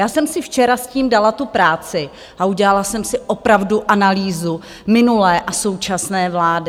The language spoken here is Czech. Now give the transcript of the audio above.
Já jsem si včera s tím dala tu práci a udělala jsem si opravdu analýzu minulé a současné vlády.